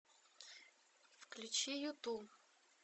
включи юту